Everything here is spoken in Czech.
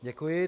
Děkuji.